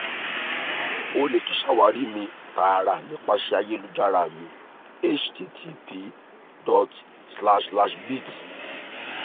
o le tun ṣawari mi taara nipasẹ ayelujara mi http://bit